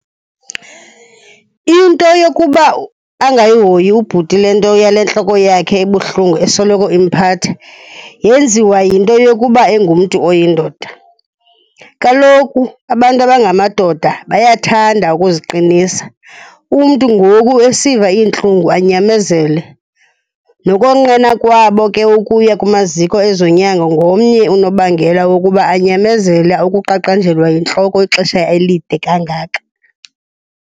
Into yokuba angayihoyi ubhuti le nto yale ntloko yakhe ebuhlungu esoloko imphatha yenziwa yinto yokuba engumntu oyindoda. Kaloku abantu abangamadoda bayathanda ukuziqinisa, umntu ngoku esiva iintlungu anyamezele. Nokonqena kwabo ke ukuya kumaziko ezonyango ngomnye unobangela wokuba anyamezele ukuqaqanjelwa yintloko ixesha elide kangaka.